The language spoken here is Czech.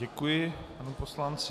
Děkuji panu poslanci.